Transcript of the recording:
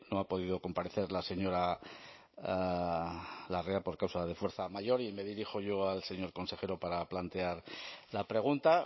ha podido comparecer la señora larrea por causa de fuerza mayor y me dirijo yo al señor consejero para plantear la pregunta